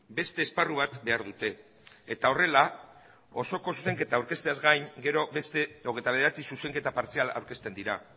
beste esparru bat behar dute eta horrela osoko zuzenketa aurkezteaz gain gero beste hogeita bederatzi zuzenketa partzial aurkezten dira